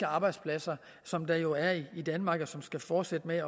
arbejdspladser som der jo er i danmark og som skal fortsætte med